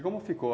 E como ficou?